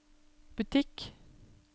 butikk